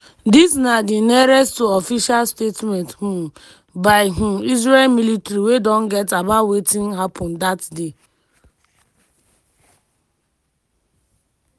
dis na di nearest to official statement um by um israel military we don get about wetin happun dat day.